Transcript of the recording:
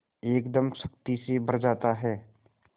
एकदम शक्ति से भर जाता है